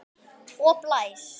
Og blæs.